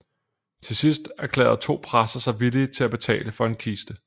Til sidst erklærede to præster sig villige til at betale for en kiste